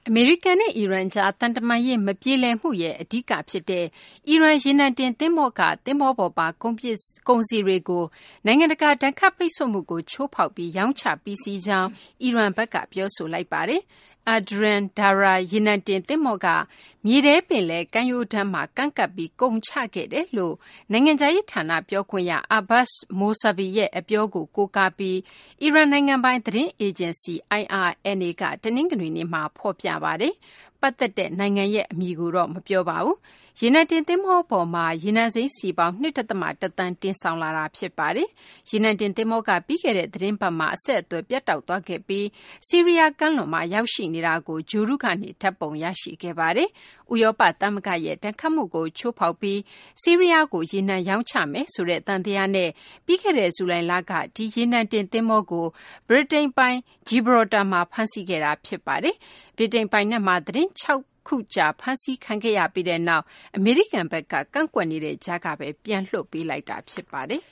အမေရိကန်နဲ့ အီရန်ကြား သံတမန်ရေး မပြေလည်မှုမှာ အဓိကကျတဲ့ အီရန် ရေနံတင်သဘောၤက သဘောၤပေါ်ပါ ကုန်စည်တွေကို နိုင်ငံတကာ ဒဏ်ခတ်ပိတ်ဆို့မှုကို ချိုးဖောက်ပြီး ရောင်းချပြီးစီးကြောင်း အီရန်က ပြောဆိုလိုက်ပါတယ်။ Adrian Darya ရေနံတင်သဘောၤက မြေထဲပင်လယ် ကမ်းရိုးတန်းမှာ ကမ်းကပ်ပြီး ကုန်ချခဲ့တယ်လို့ နိုင်ငံခြားရေးဌာန ပြောခွင့်ရ Abbas Mousavi ရဲ့ အပြောကို ကိုးကားပြီး အီရန်နိုင်ငံပိုင် သတင်းအေဂျင်စီ IRNA က တနင်္ဂနွေနေ့မှာ ဖော်ပြပါတယ်။ ပတ်သက်တဲ့နိုင်ငံရဲ့ အမည်ကိုတော့ မပြောပါဘူး။ ရေနံတင် သင်္ဘောပေါ်မှာ ရေနံစိမ်းစည်ပေါင်း ၂ ဒသမ ၁ သန်း တင်ဆောင်ခဲ့တာ ဖြစ်ပါတယ်။ ရေနံတင်သင်္ဘောဟာ ပြီးခဲ့တဲ့သီတင်းပတ်မှာ အဆက်အသွယ် ပြတ်တောက်သွားခဲ့ပြီး ဆီးရီးယားကမ်းလွန်မှာ ရောက်ရှိနေတာကို ဂြိုဟ်တုကနေ ဓာတ်ပုံရရှိခဲ့ပါတယ်။ ဥရောပသမဂ္ဂရဲ့ ဒဏ်ခတ်မှုကို ချိုးဖောက်ပြီး ဆီးရီးယားကို ရေနံရောင်းချတယ်ဆိုတဲ့ သံသယနဲ့ ပြီးခဲ့တဲ့ ဇူလိုင်လက ဒီရေနံတင်သဘောၤကို ဗြိတိန်ပိုင် Gibraltar မှာ ဖမ်းဆီးခဲ့တာ ဖြစ်ပါတယ်။ ဗြိတိန်ပိုင်နက်မှာ သီတင်းပတ် ၆ ခုကြာ ဖမ်းဆီးခံရပြီးနောက် အမေရိကန်ဘက်က ကန့်ကွက်နေတဲ့ကြားကပဲ ပြန်လွှတ်ပေးလိုက်တာ ဖြစ်ပါတယ်